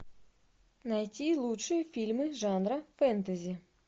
найти лучшие фильмы жанра фэнтези